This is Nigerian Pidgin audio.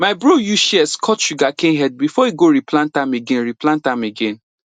my bro use shears cut sugarcane head before e go replant am again replant am again